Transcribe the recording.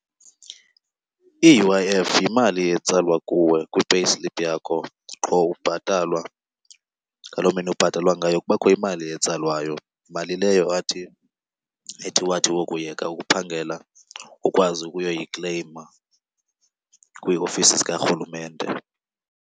I-U_I_F yimali etsalwa kuwe kwi-payslip yakho qho ubhatalwa. Ngaloo mini ubhatalwa ngayo kubakho imali etsalwayo, mali leyo athi, ethi wathi wokuyeka ukuphangela ukwazi ukuyoyikleyima kwiiofisi zikaRhulumente.